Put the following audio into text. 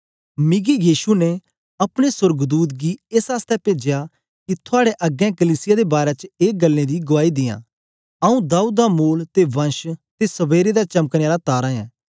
मिकी यीशु ने अपने सोर्गदूत गी एस आसतै पेजया कि थआड़े अग्गें कलीसिया दे बारै च एक गल्लें दी गुआई दियै आऊँ दाऊद दा मूल ते वंश ते सबेरे दा चमकने आला तारा ऐं